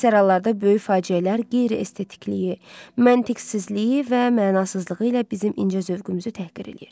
Əksər hallarda böyük faciələr qeyri-estetikliyi, məntiqsizliyi və mənasızlığı ilə bizim incə zövqümüzü təhqir eləyir.